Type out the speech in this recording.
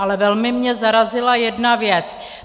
Ale velmi mě zarazila jedna věc.